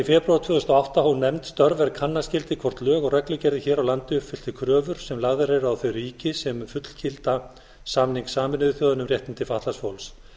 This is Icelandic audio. febrúar tvö þúsund og átta hóf nefnd störf er kanna skyldi hvort lög og reglugerðir hér á landi uppfylltu kröfur sem lagðar eru á þau ríki sem fullgilda samning sameinuðu þjóðanna um réttindi fatlaðs fólks